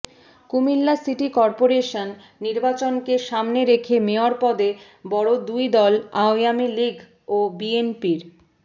Comilla city corporation নির্বাচনকে সামনে রেখে মেয়র পদে বড় দুই দল আওয়ামী লীগ ও বিএনপির